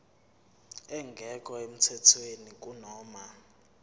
engekho emthethweni kunoma